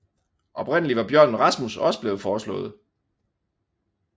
Oprindeligt var Bjørnen Rasmus også blevet foreslået